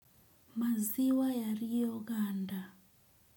Maziwa ya rioganda.